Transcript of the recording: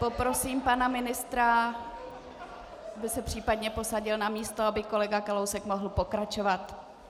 Poprosím pana ministra, aby se případně posadil na místo, aby kolega Kalousek mohl pokračovat.